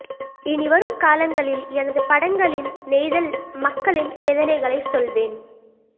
இனிவரும் காலங்களில் எனது படங்களில் நெய்தல் மக்களின் வேதனைகளைச் சொல்வேன்